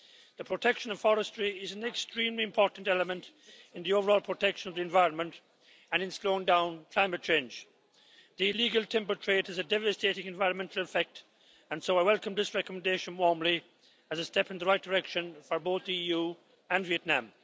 The protection of forestry is an extremely important element in the overall protection of the environment and in slowing down climate change. The illegal timber trade has a devastating environmental effect and so I welcome this recommendation warmly as a step in the right direction for both the EU and Vietnam.